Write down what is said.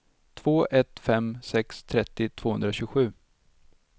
två ett fem sex trettio tvåhundratjugosju